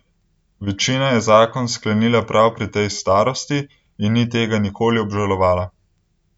Večina je zakon sklenila prav pri tej starosti in ni tega nikoli obžalovala.